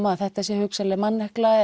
að þetta sé hugsanlega mannekla